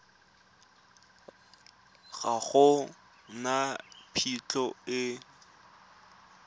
ga go na phitlho e